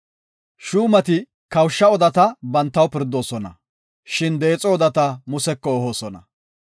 Shuumati kawusha odata bantaw pirdidosona, shin deexo odata Museko ehoosona.